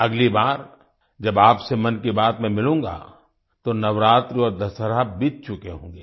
अगली बार जब आपसे मन की बात में मिलूंगा तो नवरात्रि और दशहरा बीत चुके होंगे